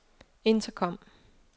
intercom